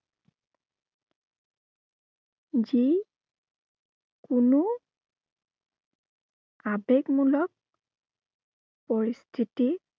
যি কোনো আবেগমূলক পৰিস্থিতি